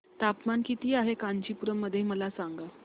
तापमान किती आहे कांचीपुरम मध्ये मला सांगा